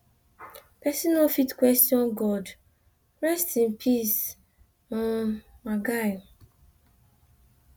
pesin no fit question god rest in peace um my guy